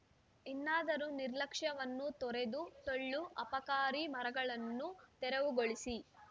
ಇನ್ನಾದರು ನಿರ್ಲಕ್ಷ್ಯವನ್ನು ತೊರೆದು ಟೊಳ್ಳು ಅಪಾಕಾರಿ ಮರಗಳನ್ನು ತೆರವುಗೊಳಿಸಿ